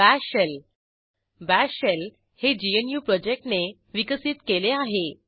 bash shell bash shell हे GNU प्रोजेक्टने विकसीत केले आहे